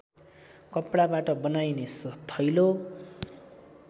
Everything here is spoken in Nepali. कपडाबाट बनाइने थैलो